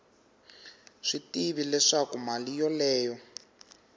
swi tivi leswaku mali yoleyo